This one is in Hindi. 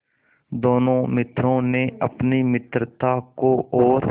दोनों मित्रों ने अपनी मित्रता को और